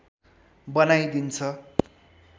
बनाई दिन्छ